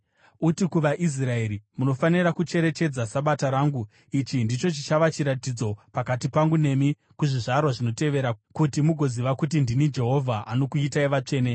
“Uti kuvaIsraeri, ‘Munofanira kucherechedza Sabata rangu. Ichi ndicho chichava chiratidzo pakati pangu nemi kuzvizvarwa zvinotevera, kuti mugoziva kuti ndini Jehovha, anokuitai vatsvene.